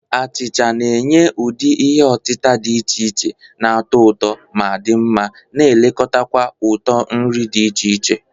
Achicha na-enye ụdị ihe otita dị iche iche na-atọ ụtọ ma di nma, na-elekota kwa uto nri dị iche iche.